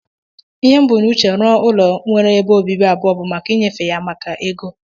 Ihe m bu na uche rụọ ụlọ nwere ebe ọbibi abụọ bu maka inyefe ya maka ego.